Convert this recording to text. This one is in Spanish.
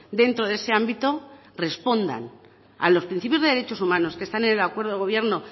dentro de ese ámbito respondan a los principios de derechos humanos que están en el acuerdo de gobierno